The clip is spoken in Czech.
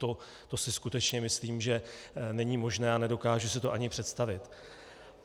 To si skutečně myslím, že není možné a nedokážu si to ani představit.